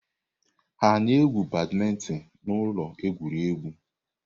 Ha na-egwu badmintin na ụlọ egwuregwu?